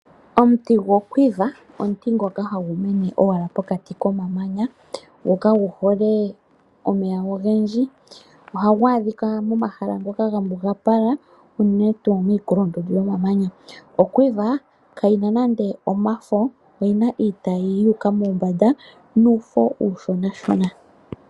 Omuti goQuiver , omuti ngoka hagu mene owala pokati komamanya go kagu hole omeya ogendji ohagu adhika pomahala ngoka gambugapala unene tuu miikulundundu yomamamanya. OQuiver kayina nande omafo oyina iitayi yuuka mombanda nuufo ushonashona.